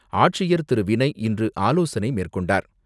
ஆட்சியர் திரு வினய் இன்று ஆலோசனை மேற்கொண்டார்.